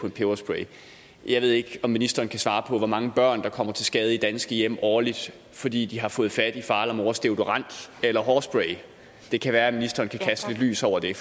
en peberspray jeg ved ikke om ministeren kan svare på hvor mange børn der kommer til skade i danske hjem årligt fordi de har fået fat i fars eller mors deodorant eller hårspray det kan være ministeren kan kaste lidt lys over det